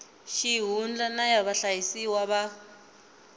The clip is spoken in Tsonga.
xihundla na ya vahlayisiwa va